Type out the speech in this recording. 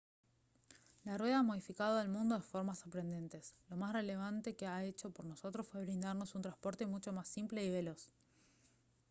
la rueda ha modificado al mundo de formas sorprendentes lo más relevante que ha hecho por nosotros fue brindarnos un transporte mucho más simple y veloz